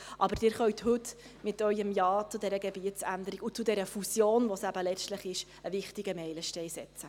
Aber Sie können heute mit Ihrem Ja zu dieser Gebietsänderung und zu dieser Fusion, die es eben letztlich ist, einen wichtigen Meilenstein setzen.